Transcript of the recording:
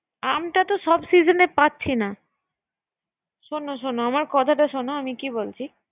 আমটাতো সব সিজনে পাচ্ছি না, শোন শোন আমার কথাটা শোন